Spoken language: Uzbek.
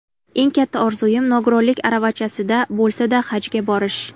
Eng katta orzuim nogironlik aravachasida bo‘lsa-da Hajga borish.